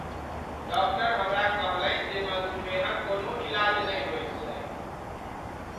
Doctor हमरा कहलनि जे मधुमेहक कोनो इलाज नहि होइत छैक।